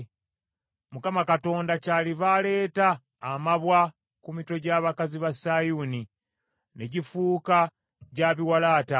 Mukama kyaliva aleeta amabwa ku mitwe gy’abakazi ba Sayuuni, ne gifuuka gya biwalaata.”